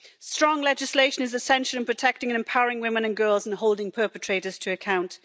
Strong legislation is essential in protecting and empowering women and girls in holding perpetrators to account.